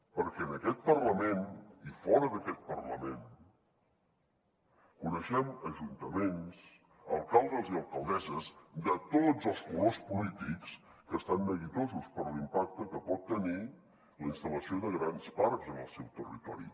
perquè en aquest parlament i fora d’aquest parlament coneixem ajuntaments alcaldes i alcaldesses de tots els colors polítics que estan neguitosos per l’impacte que pot tenir la instal·lació de grans parcs en el seu territori